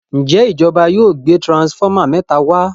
Njé ìjọba yóò gbé transformer méta wá?